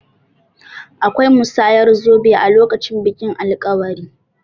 Akwai musayar zobe a lokacin bikin alkawari.